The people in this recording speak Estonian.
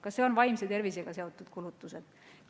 Kas need on vaimse tervisega seotud kulutused?